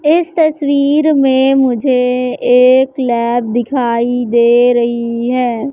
इस तस्वीर में मुझे एक लैब दिखाई दे रही है।